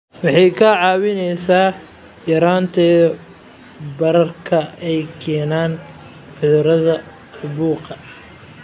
Waxay kaa caawinaysaa yaraynta bararka ay keenaan cudurrada caabuqa.